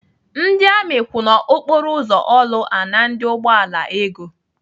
Ndị amị kwụ n'okporo ụzọ Orlu ana ndị ụgbọala ego.